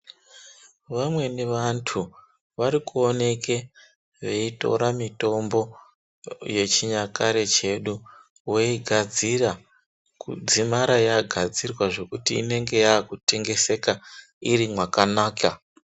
Vameni vantu vari kuoneka veitore mutombo mutombo yechinyakare chedu voigadzira kudzimara yagadzirwa zvekuti inonga yakutengeseka iri mwakanaka .